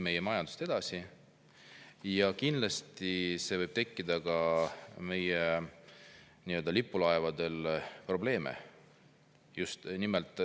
See võib meie lipulaevadele probleeme.